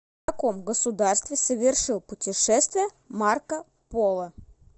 в каком государстве совершил путешествие марко поло